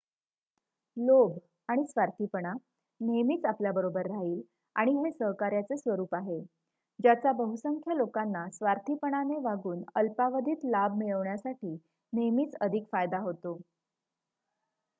लोभ आणि स्वार्थीपणा नेहमीच आपल्याबरोबर राहील आणि हे सहकार्याचे स्वरूप आहे ज्याचा बहुसंख्य लोकांना स्वार्थीपणाने वागून अल्पावधीत लाभ मिळवण्यासाठी नेहमीच अधिक फायदा होतो